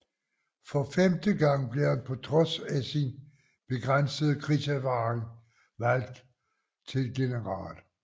For femte gang blev han på trods af sin begrænsede krigserfaring valgt til general